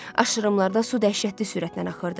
Aşırımlarda su dəhşətli sürətlə axırdı.